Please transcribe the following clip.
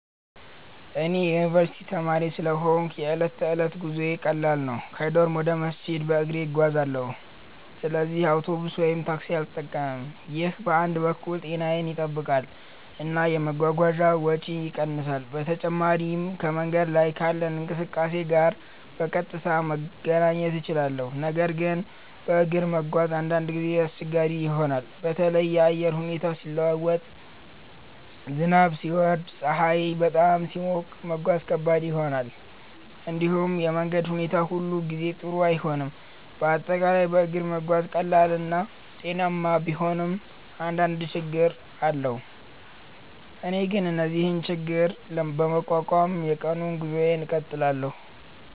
እኔ የዩኒቨርስቲ ተማሪ ስለሆንሁ የዕለት ተዕለት ጉዞዬ ቀላል ነው። ከዶርም ወደ መስጂድ በእግሬ እጓዛለሁ፣ ስለዚህ አውቶቡስ ወይም ታክሲ አልጠቀምም። ይህ በአንድ በኩል ጤናዬን ይጠብቃል እና የመጓጓዣ ወጪን ይቀንሳል። በተጨማሪም ከመንገድ ላይ ካለው እንቅስቃሴ ጋር በቀጥታ መገናኘት እችላለሁ። ነገር ግን በእግር መጓዝ አንዳንድ ጊዜ አስቸጋሪ ይሆናል። በተለይ የአየር ሁኔታ ሲለዋወጥ፣ ዝናብ ሲወርድ ወይም ፀሐይ በጣም ሲሞቅ መጓዝ ከባድ ይሆናል። እንዲሁም የመንገድ ሁኔታ ሁሉ ጊዜ ጥሩ አይሆንም፤ በአጠቃላይ በእግር መጓዝ ቀላል እና ጤናማ ቢሆንም አንዳንድ ችግኝ አለው። እኔ ግን እነዚህን ችግኝ በመቋቋም የቀኑን ጉዞዬን እቀጥላለሁ።